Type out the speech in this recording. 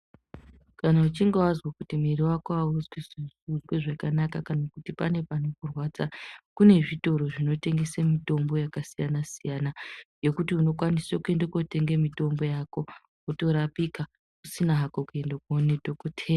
Kana uchinge wazwa kuti muviri wako auzwi zvakanaka kana kuti pane panokurwadza kune zvitoro zvinotengese mitombo yakasiyana siyana yekuti unokwanise kuende kootenge mitombo yako wotorapika usina hako kuende koone dhokoteya.